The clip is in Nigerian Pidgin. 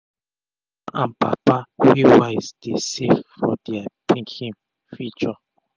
mama and papa wey wise dey safe for dia pikin future